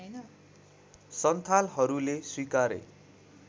सन्थालहरूले स्वीकारे